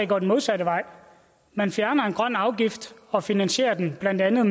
går den modsatte vej man fjerner en grøn afgift og finansierer den blandt andet